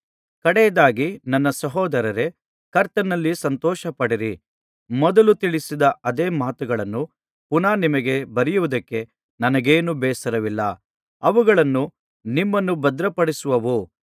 ಕಡೆಯದಾಗಿ ನನ್ನ ಸಹೋದರರೇ ಕರ್ತನಲ್ಲಿ ಸಂತೋಷಪಡಿರಿ ಮೊದಲು ತಿಳಿಸಿದ ಅದೇ ಮಾತುಗಳನ್ನು ಪುನಃ ನಿಮಗೆ ಬರೆಯುವುದಕ್ಕೆ ನನಗೇನೂ ಬೇಸರವಿಲ್ಲ ಅವುಗಳು ನಿಮ್ಮನ್ನು ಭದ್ರಪಡಿಸುವವು